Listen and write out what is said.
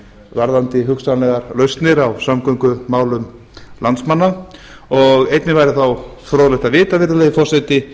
varðandi hugsanlegar lausnir á samgöngumálum landsmanna og einnig væri þá fróðlegt að vita virðulegi forseti